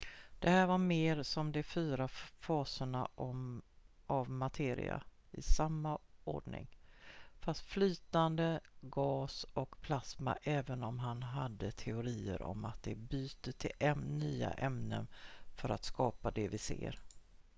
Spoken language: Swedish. det här var mer som de fyra faserna av materia i samma ordning: fast flytande gas och plasma även om han hade teorier om att de byter till nya ämnen för att skapa det vi ser